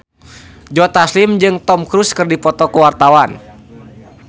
Joe Taslim jeung Tom Cruise keur dipoto ku wartawan